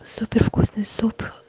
супер вкусный суп